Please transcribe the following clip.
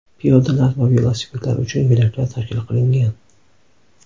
Piyodalar va velosipedlar uchun yo‘laklar tashkil qilingan.